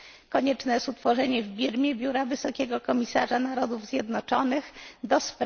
Konieczne jest utworzenie w Birmie biura Wysokiego Komisarza Narodów Zjednoczonych ds.